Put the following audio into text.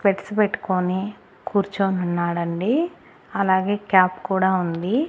Specs పెట్టుకొని కూర్చోనున్నాడండి అలాగే క్యాప్ కూడా ఉంది.